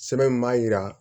Sɛbɛn min b'a jira